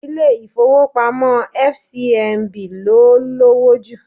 Ilé ifowopamo ti Fcmb ló lowo jù.